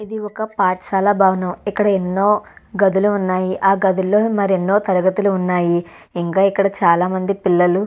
ఇది ఒక పాటశాల భవనం ఇక్కడ ఎన్నో గదులు ఉన్నాయి ఆ గదులలో మరి ఎన్నో తరగతులు ఉన్నాయి ఇంకా ఇక్కడ చాలామంది పిల్లలు --